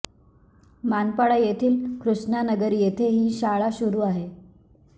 मानपाडा येथील कृष्णा नगर येथे ही शाळा सुरु आहे